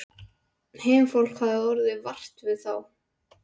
Heimafólk hafði orðið vart við þá.